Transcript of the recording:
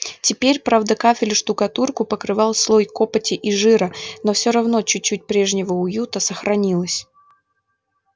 теперь правда кафель и штукатурку покрывал слой копоти и жира но всё равно чуть-чуть прежнего уюта сохранилось